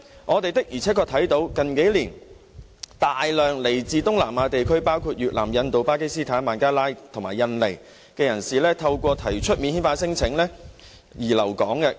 我們的而且確看到，近年來有大量來自東南亞地區，包括越南、印度、巴基斯坦、孟加拉和印尼的人士透過提出免遣返聲請而留港。